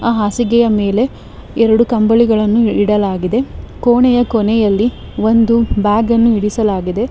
ಹಾಸಿಗೆಯ ಮೇಲೆ ಎರಡು ಕಂಬಳಿಗಳನ್ನು ಇಡಲಾಗಿದೆ ಕೋಣೆಯ ಕೊನೆಯಲ್ಲಿ ಒಂದು ಬ್ಯಾಗ್ ಅನ್ನು ಇರಿಸಲಾಗಿದೆ.